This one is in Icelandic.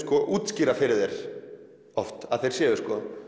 útskýra fyrir þér oft að þeir séu